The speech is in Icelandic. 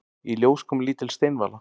Í ljós kom lítil steinvala.